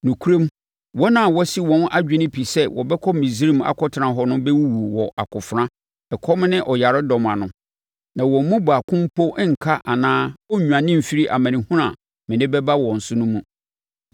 Nokorɛm, wɔn a wɔasi wɔn adwene pi sɛ wɔbɛkɔ Misraim akɔtena hɔ no bɛwuwu wɔ akofena, ɛkɔm ne ɔyaredɔm ano, na wɔn mu baako mpo renka anaa ɔrennwane mfiri amanehunu a mede bɛba wɔn so no mu.’